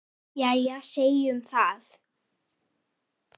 Jæja, segjum það.